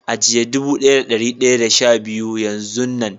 ajiye dubu daya da dari daya da sha biyu Yan zun Nan.